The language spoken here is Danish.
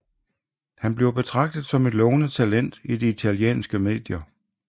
Han bliver betragtet som et lovende talent i det italienske medier